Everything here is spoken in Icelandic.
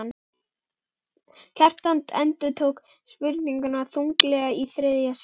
Kjartan endurtók spurninguna þunglega í þriðja sinn.